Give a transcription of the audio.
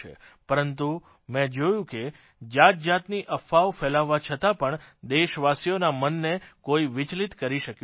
પરંતુ મે જોયું કે જાતજાતની અફવાઓ ફેલાવવા છતાં પણ દેશવાસીઓના મનને કોઇ વિચલીત કરી શક્યું નથી